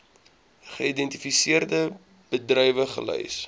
geïdentifiseerde bedrywe gelys